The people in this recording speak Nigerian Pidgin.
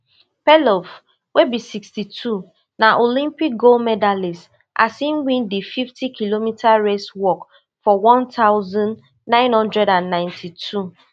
perlov wey be sixty-two na olympic gold medallist as im win di fifty kilometer race walk for one thousand, nine hundred and ninety-two